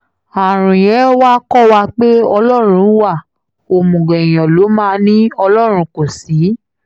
àrùn yẹn wàá kọ́ wa pé ọlọ́run wa òmùgọ̀ èèyàn ló máa ní ọlọ́run kò sí